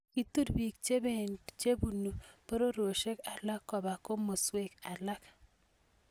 Kitur piik Che punu pororioshek alak kopa komaswek alak